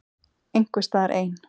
Einhvers staðar ein.